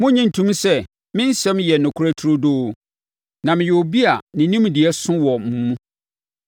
Monnye ntom sɛ me nsɛm yɛ nokorɛ turodoo; na meyɛ obi a ne nimdeɛ so wɔ mo mu.